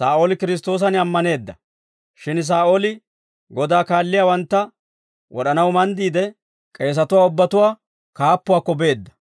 Shin Saa'ooli Godaa kaalliyaawantta wod'anaw manddiide, k'eesatuwaa ubbatuwaa kaappuwaakko beedda.